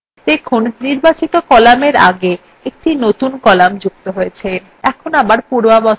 দেখুন নির্বাচিত cell কলামের আগে একটি নতুন column যুক্ত হয়েছে